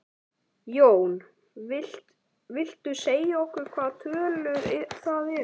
Jón: Viltu segja okkur hvaða tölur það eru?